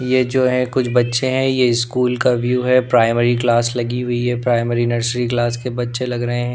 ये जो है कुछ बच्चे हैं यह स्कूल का व्यू है प्राइमरी क्लास लगी हुई है प्राइमरी नर्सरी क्लास के बच्चे लग रहे हैं।